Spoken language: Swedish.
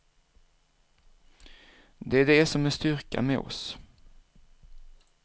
Det är det som är styrkan med oss.